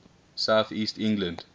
south east england